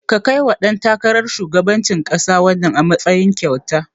Ka kaiwa ɗan takarar shugabancin ƙasa wannan, a matsayin kyauta.